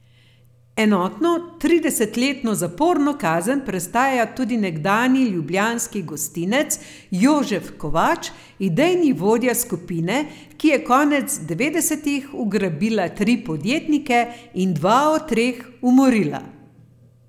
Enotno tridesetletno zaporno kazen prestaja tudi nekdanji ljubljanski gostinec Jožef Kovač, idejni vodja skupine, ki je konec devetdesetih ugrabila tri podjetnike in dva od teh umorila.